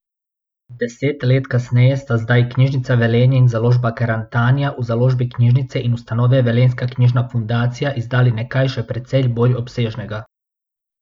Deset let kasneje sta zdaj Knjižnica Velenje in Založba Karantanija v založbi knjižnice in ustanove Velenjska knjižna fundacija izdali nekaj še precej bolj obsežnega.